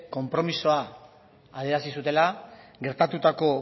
konpromisoa adierazi zutela gertatutako